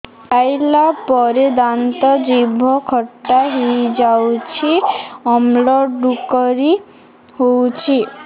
ଖାଇଲା ପରେ ଦାନ୍ତ ଜିଭ ଖଟା ହେଇଯାଉଛି ଅମ୍ଳ ଡ଼ୁକରି ହଉଛି